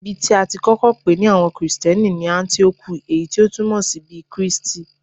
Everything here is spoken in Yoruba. Ibi tí a ti kọ́kọ́ pè ní àwọn Kristẹni ni Áńtíókù, èyí tí o túmọ̀ sí bí Kristi.